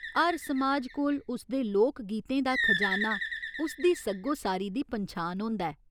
हर समाज कोल उसदे लोक गीतें दा खजाना उसदी सग्गोसारी दी पन्छान होंदा ऐ।